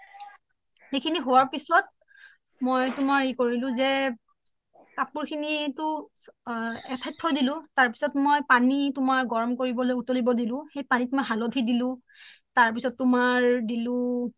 ইখিনি হুআৰ পিছত মই তুমাৰ হেৰি কৰিলো জে কাপুৰ খিনি তু এঠাইত থই দিলো তাৰপিছ্ত মই তুমাৰ পানি গৰম কৰিবলৈ পানি উতলিব দিলো পানিত মই হালোধি দিলো তাৰপিছ্ত তুমাৰ দিলো